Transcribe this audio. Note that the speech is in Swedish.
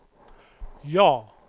ja